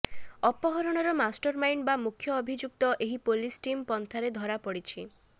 ଅପହରଣର master mind ବା ମୁଖ୍ୟଅଭିଯୁକ୍ତ ଏହି ପୁଲିସ ଟିମ ପଞ୍ଛାରେ ଧରାପଡ଼ିଛି